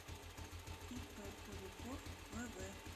ип куликов вв